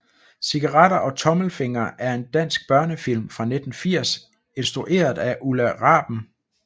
Cigaretter og tommelfingre er en dansk børnefilm fra 1980 instrueret af Ulla Raben